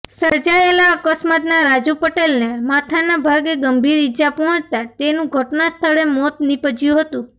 સર્જાયેલા અકસ્માતમાં રાજુ પટેલને માથાના ભાગે ગંભીર ઇજા પહોંચતા તેનું ઘટના સ્થળે મોત નીપજયું હતું